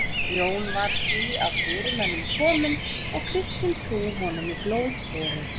Jón var því af fyrirmönnum kominn og kristin trú honum í blóð borin.